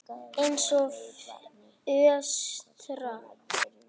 Eins og fóstra.